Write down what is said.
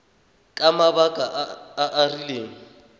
ka mabaka a a rileng